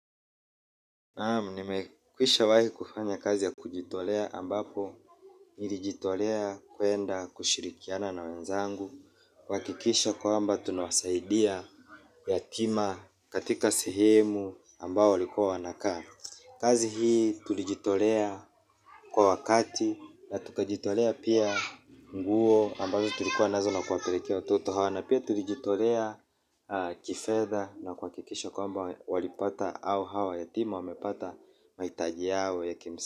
Naam, nimekwishawahi kufanya kazi ya kujitolea ambapo nilijitolea kuenda kushirikiana na wenzangu kuhakikisha kwamba tunawasaidia yatima katika sehemu ambao walikua wanakaa. Kazi hii tulijitolea kwa wakati na tukajitolea pia nguo ambazo tulikuwa nazo na kuwapelekea watoto hao na pia tulijitolea kifedha na kuhakikisha kwamba walipata au hawa yatima wamepata mahitaji yao ya kimsi.